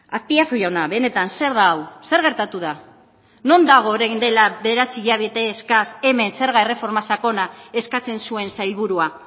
azpiazu jauna benetan zer da hau zer gertatu da non dago orain dela bederatzi hilabete eskas hemen zerga erreforma sakona eskatzen zuen sailburua